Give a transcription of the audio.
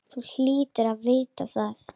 Þú hlýtur að vita það.